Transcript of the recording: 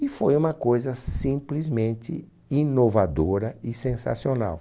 E foi uma coisa simplesmente inovadora e sensacional.